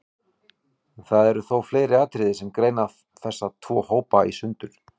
Það eru þó fleiri atriði sem greina þessa tvo hópa í sundur.